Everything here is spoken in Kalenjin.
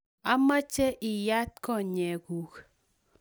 omeche iyat konyekuk